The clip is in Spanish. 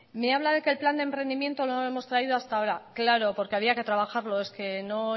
me habla de que el plan de emprendimiento no lo hemos traído hasta ahora claro porque había que trabajarlo es que no